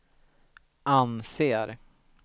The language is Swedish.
anser